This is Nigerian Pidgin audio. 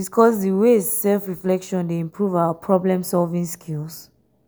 discuss di ways self-reflection dey improve our problem-solving skills?